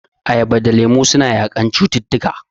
Ayaba da lemu suna yaƙan cututtuka..